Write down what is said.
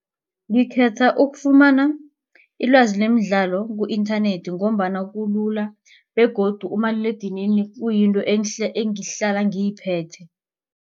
Ngikhetha ukufumana ilwazi lemidlalo ku-internet ngombana kulula begodu umaliledinini uyinto engihlala ngiyiphethe.